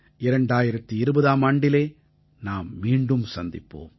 2020ஆம் ஆண்டிலே நாம் மீண்டும் சந்திப்போம்